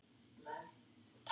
En hvað með Ísland.